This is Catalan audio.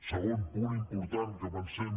segon punt important que pensem